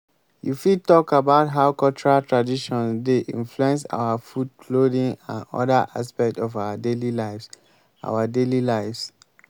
you fit talk about how cultural traditions dey influence our food clothing and oda aspects of our daily lives. our daily lives.